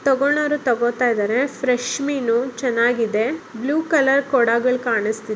ತಗೋಳ್ಳೋರ್ ತಗೋತಾಯ್ದರೆ ಫ್ರೆಶ್ ಮೀನು ಚೆನಾಗಿದೆ ಬ್ಲೂ ಕಲರ್ ಕೋಡಗಳ್ ಕಾಣಿಸ್ತಿ